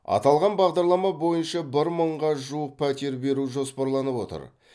аталған бағдарлама бойынша бір мыңға жуық пәтер беру жоспарланып отыр